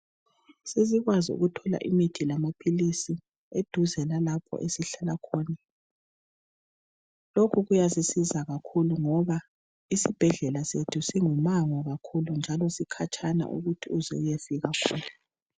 Sesikwazi ukuthola imithi lamaphilisi eduze lalapho esihlala khona. Lokhu kuyasisiza kakhulu ngoba isibhedlela sethu singu mango kakhulu njalo sikhatshana ukuthi uze uyefika khona.